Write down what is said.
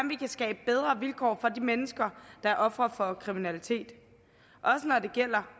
vi kan skabe bedre vilkår for de mennesker der er ofre for kriminalitet også når det gælder